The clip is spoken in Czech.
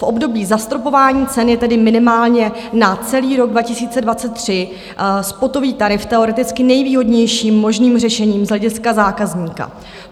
V období zastropování cen je tedy minimálně na celý rok 2023 spotový tarif teoreticky nejvýhodnějším možným řešením z hlediska zákazníka.